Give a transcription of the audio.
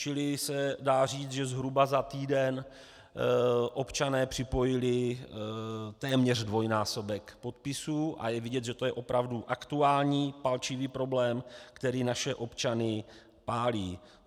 Čili se dá říct, že zhruba za týden občané připojili téměř dvojnásobek podpisů, a je vidět, že to je opravdu aktuální palčivý problém, který naše občany pálí.